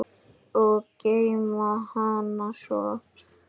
Og geyma hana svo.